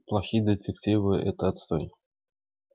плохие детективы это отстой